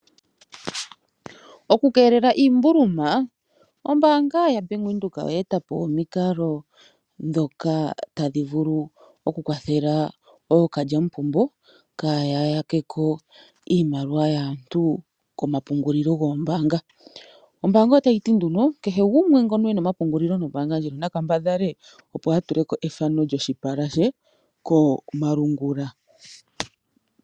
Oku keelela iimbuluma ombaanga yaBank Windhoek oyaa eta po omikalo ndhoka tadhi vulu oku kwathela ookalya mupombo kaaya ya ke ko iimaliwa yaantu komapungulilo goombaanga. Ombaanga otayi ti nduno kehe gumwe ena omapungulilo nombaanga ndjino na kambadhale a tule ko efano lyoshipala she komalungula.